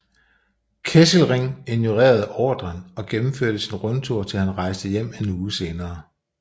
Kesselring ignorerede ordren og gennemførte sin rundtur til han rejste hjem en uge senere